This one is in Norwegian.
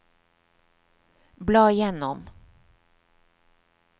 bla gjennom